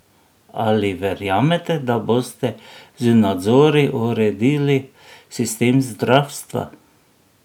Ali verjamete, da boste z nadzori uredili sistem zdravstva?